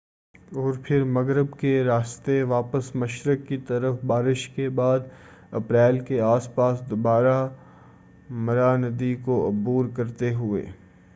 اور پھر مغرب کے راستے واپس مشرق کی طرف بارش کے بعد اپریل کے آس پاس دوبارہ مارا ندی کو عبور کرتے ہوئے